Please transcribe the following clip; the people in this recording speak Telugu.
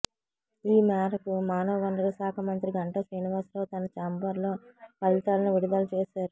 ఈ మేరకు మానవ వనరుల శాఖ మంత్రి గంటా శ్రీనివాసరావు తన ఛాంబర్ లో ఫలితాలను విడుదల చేశారు